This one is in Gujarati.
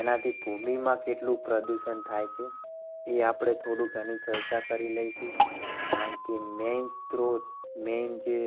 એનાથી ભૂમિમાં કેટલું પ્રદૂષણ થાય છે એ આપણે આની થોડીક ચર્ચા કરી લઈશું. કારણ કે મેં main સ્ત્રોત main જે